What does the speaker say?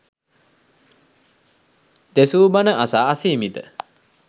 දෙසූ බණ අසා අසීමිත